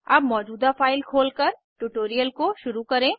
अब मौजूदा फाइल खोलकर ट्यूटोरियल को शुरू करें